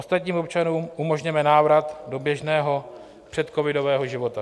Ostatním občanům umožněme návrat do běžného předcovidového života.